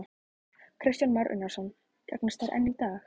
Kristján Már Unnarsson: Gagnast þær enn í dag?